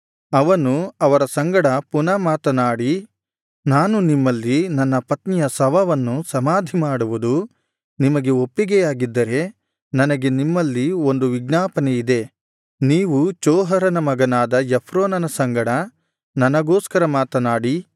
ಅವನು ಅವರ ಸಂಗಡ ಪುನಃ ಮಾತನಾಡಿ ನಾನು ನಿಮ್ಮಲ್ಲಿ ನನ್ನ ಪತ್ನಿಯ ಶವವನ್ನು ಸಮಾಧಿಮಾಡುವುದು ನಿಮಗೆ ಒಪ್ಪಿಗೆಯಾಗಿದ್ದರೆ ನನಗೆ ನಿಮ್ಮಲ್ಲಿ ಒಂದು ವಿಜ್ಞಾಪನೆ ಇದೆ ನೀವು ಚೋಹರನ ಮಗನಾದ ಎಫ್ರೋನನ ಸಂಗಡ ನನಗೋಸ್ಕರ ಮಾತನಾಡಿ